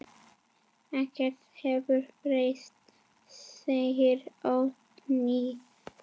Ekkert hefur breyst, segir Oddný.